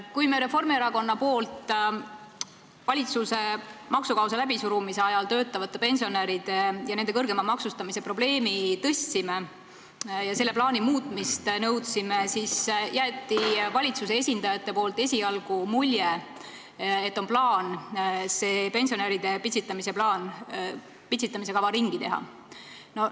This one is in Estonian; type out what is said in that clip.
Kui Reformierakond tõstatas ajal, kui valitsus maksukaost läbi surus, töötavate pensionäride kõrgema maksustamise probleemi ja nõudis selle plaani muutmist, siis jätsid valitsuse esindajad esialgu mulje, et on plaan see pensionäride pitsitamise kava ringi teha.